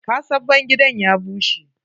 Ƙasan bangidan ya bushe.